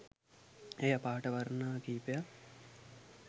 එයා පාට වර්ණ කීපයක්